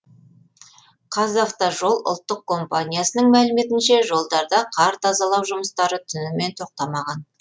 қазавтожол ұлттық компаниясының мәліметінше жолдарда қар тазалау жұмыстары түнімен тоқтамаған